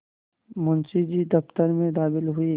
मुंशी जी दफ्तर में दाखिल हुए